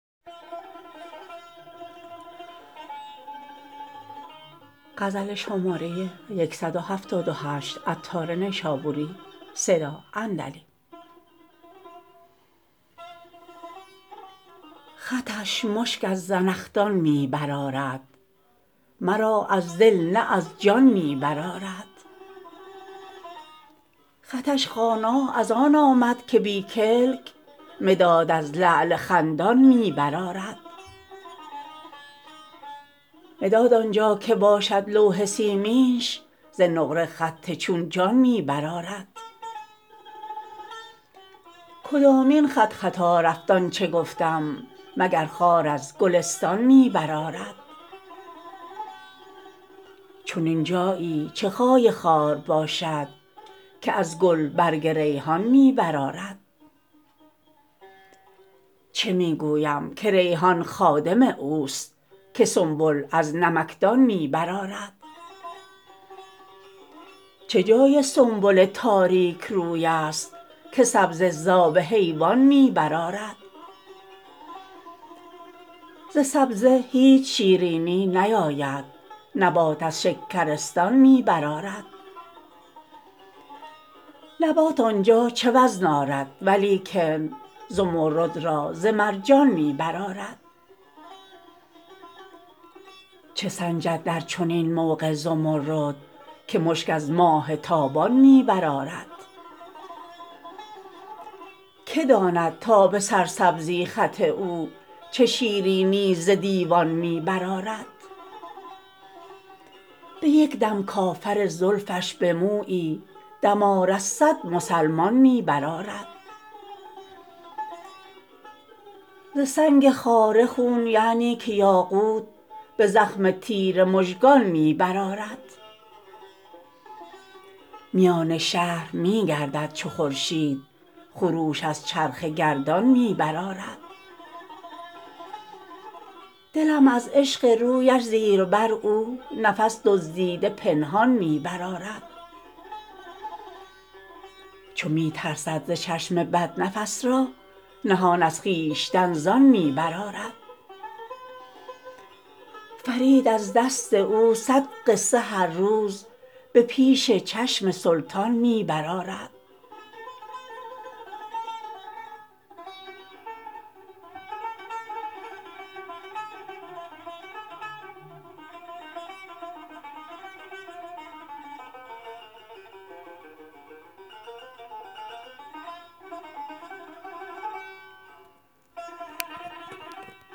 خطش مشک از زنخدان می برآرد مرا از دل نه از جان می برآرد خطش خوانا از آن آمد که بی کلک مداد از لعل خندان می برآرد مداد آنجا که باشد لوح سیمینش ز نقره خط چون جان می برآرد کدامین خطخطا رفت آنچه گفتم مگر خار از گلستان می برآرد چنین جایی چه جای خار باشد که از گل برگ ریحان می برآرد چه می گویم که ریحان خادم اوست که سنبل از نمکدان می برآرد چه جای سنبل تاریک روی است که سبزه زاب حیوان می برآرد ز سبزه هیچ شیرینی نیاید نبات از شکرستان می برآرد نبات آنجا چه وزن آرد ولیکن زمرد را ز مرجان می برآرد چه سنجد در چنین موقع زمرد که مشک از ماه تابان می برآرد که داند تا به سرسبزی خط او چه شیرینی ز دیوان می برآرد به یک دم کافر زلفش به مویی دمار از صد مسلمان می برآرد ز سنگ خاره خون یعنی که یاقوت به زخم تیر مژگان می برآرد میان شهر می گردد چو خورشید خروش از چرخ گردان می برآرد دلم از عشق رویش زیر بر او نفس دزدیده پنهان می برآرد چو می ترسد ز چشم بد نفس را نهان از خویشتن زان می برآرد فرید از دست او صد قصه هر روز به پیش چشم سلطان می برآرد